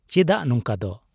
ᱪᱮᱫᱟᱜ ᱱᱚᱝᱠᱟᱫᱚ ?